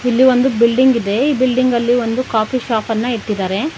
ಇಲ್ಲಿ ಒಂದು ಬಿಲ್ಡಿಂಗ್ ಇದೆ ಈ ಬಿಲ್ಡಿಂಗ್ ಅಲ್ಲಿ ಕಾಫಿ ಶಾಪನ್ನ ಇಟ್ಟಿದ್ದಾರೆ.